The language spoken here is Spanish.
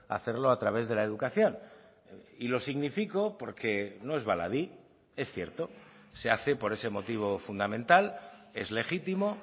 hacerlo a través de la educación y lo significo porque no es baladí es cierto se hace por ese motivo fundamental es legítimo